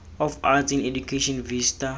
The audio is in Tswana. of arts in education vista